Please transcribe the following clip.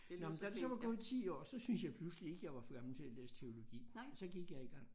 Nåh men da der så var gået 10 år så synes jeg pludselig ikke jeg var for gammel til at læse teologi så gik jeg i gang